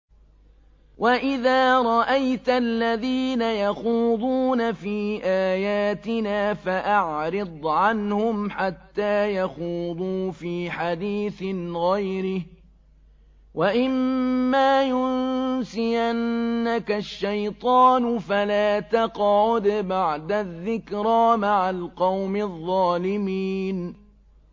وَإِذَا رَأَيْتَ الَّذِينَ يَخُوضُونَ فِي آيَاتِنَا فَأَعْرِضْ عَنْهُمْ حَتَّىٰ يَخُوضُوا فِي حَدِيثٍ غَيْرِهِ ۚ وَإِمَّا يُنسِيَنَّكَ الشَّيْطَانُ فَلَا تَقْعُدْ بَعْدَ الذِّكْرَىٰ مَعَ الْقَوْمِ الظَّالِمِينَ